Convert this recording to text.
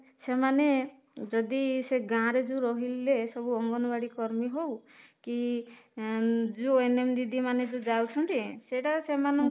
ସେମାନେ ଯଦି ସେ ଗାଁ ରେ ରହିଲେ ସବୁ ଅଙ୍ଗନବାଡି କର୍ମୀ ହଉ କି ଏଂ ଯୋଉ ଦିଦି ମାନେ ଯାଉଛନ୍ତି ସେଇଟା ସେମାନଙ୍କୁ